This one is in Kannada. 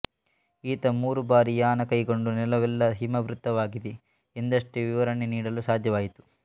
ಈತ ಮೂರು ಬಾರಿ ಯಾನ ಕೈಗೊಂಡು ನೆಲವೆಲ್ಲ ಹಿಮಾವೃತವಾಗಿದೆ ಎಂದಷ್ಟೇ ವಿವರಣೆ ನೀಡಲು ಸಾಧ್ಯವಾಯಿತು